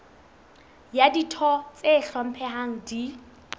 ha ditho tse hlomphehang di